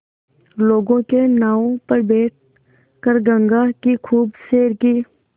लोगों के नावों पर बैठ कर गंगा की खूब सैर की